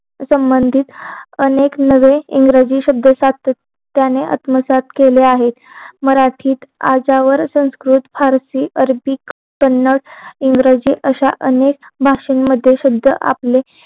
संबंधीत अनेक नवे इंग्रजी शब्द सातत्याने आत्मसात केले आहे मराठीत अर्जावर संस्कृत भारती अरेबिक कन्नड इंग्रेजीत असा अनेक भाषेनंमध्ये शब्द आपले